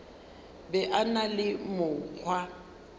be a na le mokgwa